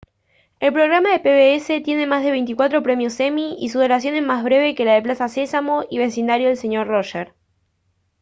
el programa de pbs tiene más de veinticuatro premios emmy y su duración es más breve que la de plaza sésamo y el vecindario del señor roger